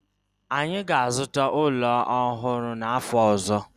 anyi ga-azuta ulo ohuru n'afo ozo